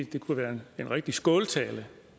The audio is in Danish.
det kunne være en rigtig skåltale